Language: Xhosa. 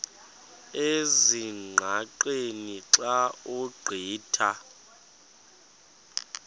ezingqaqeni xa ugqitha